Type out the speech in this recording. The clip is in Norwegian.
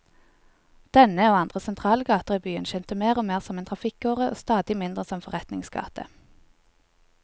Denne, og andre sentrale gater i byen, tjente mer og mer som en trafikkåre og stadig mindre som forretningsgate.